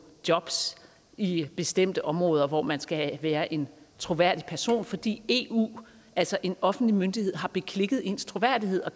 jobs i bestemte områder hvor man skal være en troværdig person fordi eu altså en offentlig myndighed har beklikket ens troværdighed og